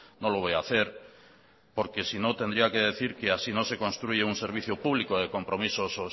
no lo voy a hacer porque sino tendría que decir que así no se construye un servicio público de compromiso